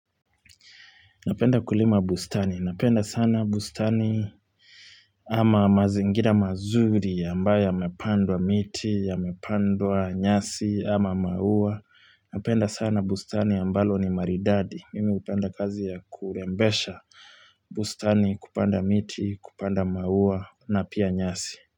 Napenda kulima bustani. Napenda sana bustani ama mazingira mazuri ambayo yamepandwa miti, yamepandwa nyasi ama maua. Napenda sana bustani ambalo ni maridadi. Mimi upenda kazi ya kurembesha bustani kupanda miti, kupanda maua na pia nyasi.